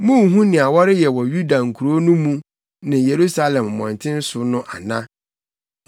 Munnhu nea wɔreyɛ wɔ Yuda nkurow no mu ne Yerusalem mmɔnten so no ana?